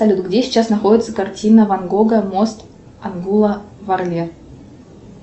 салют где сейчас находится картина ван гога мост англуа в арле